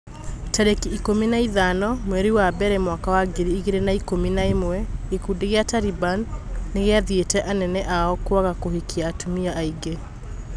Tarĩki ikũmi na ithano mweri wa mbere mwaka wa ngiri igĩrĩ na ikũmi na ĩmwe gĩkundi gĩa Taliban nĩgĩathĩte anene ao kwaga kũhikia atumia aingĩ.